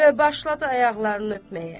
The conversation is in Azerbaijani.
Və başladı ayaqlarını öpməyə.